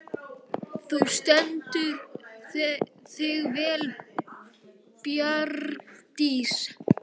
Þú stendur þig vel, Bjargdís!